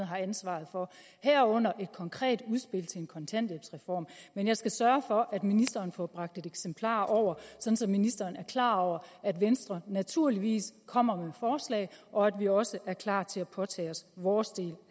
har ansvaret for herunder et konkret udspil til en kontanthjælpsreform men jeg skal sørge for at ministeren får bragt et eksemplar over så ministeren er klar over at venstre naturligvis kommer med forslag og at vi også er klar til at påtage os vores del